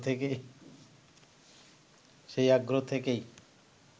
সেই আগ্রহ থেকেই